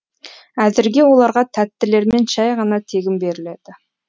әзірге оларға тәттілермен шәй ғана тегін беріледі